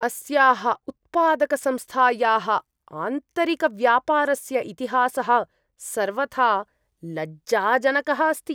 अस्याः उत्पादकसंस्थायाः आन्तरिकव्यापारस्य इतिहासः सर्वथा लज्जाजनकः अस्ति।